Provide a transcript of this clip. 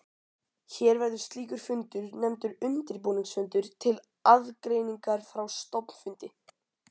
Hér verður slíkur fundur nefndur undirbúningsfundur til aðgreiningar frá stofnfundi.